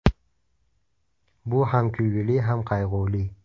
Bu ham kulgili, ham qayg‘uli.